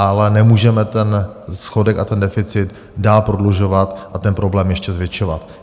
Ale nemůžeme ten schodek a ten deficit dál prodlužovat a ten problém ještě zvětšovat.